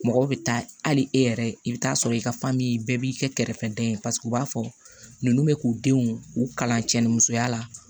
Mɔgɔw bɛ taa hali e yɛrɛ i bɛ taa sɔrɔ i ka bɛɛ b'i kɛ kɛrɛfɛdɛn u b'a fɔ ninnu bɛ k'u denw u kalan cɛ ni musoya la